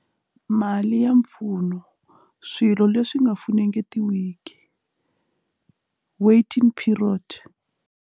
Mali ya mpfuno swilo leswi nga funengetiwiki waiting period.